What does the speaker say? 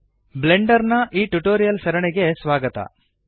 Blender ನ tutorial ಸರಣಿಗೆ ಸ್ವಾಗತ